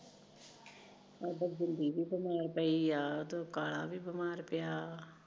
ਪਈ ਐ ਉਧਰੋ ਕਾਲਾ ਵੀ ਬਿਮਾਰ ਪਿਆ ਐ